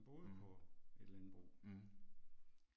Mh. Mh